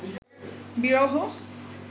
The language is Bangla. বিরহ